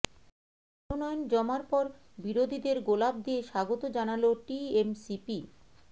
মনোনয়ন জমার পর বিরোধীদের গোলাপ দিয়ে স্বাগত জানাল টিএমসিপি